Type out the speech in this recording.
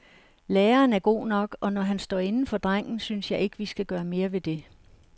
Læreren er god nok og når han står inde for drengen, synes jeg ikke vi skal gøre mere ved det.